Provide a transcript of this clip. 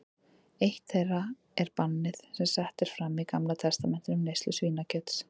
Eitt þeirra er bannið sem sett er fram í Gamla testamentinu um neyslu svínakjöts.